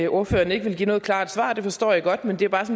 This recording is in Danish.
ordføreren ikke vil give noget klart svar det forstår jeg godt men det er bare